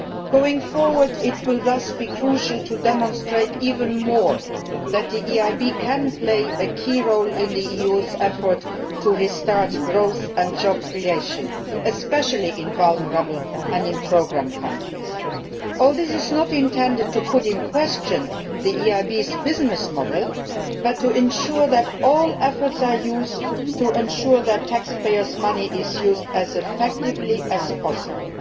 Going forward, it will thus be crucial to demonstrate even more that the EIB can play a key role in the EU's efforts to restart growth and job creation, especially in vulnerable and programme countries. All this is not intended to call into question the EIB's business model but to ensure that all efforts are used to ensure that taxpayers' money is used as effectively as possible.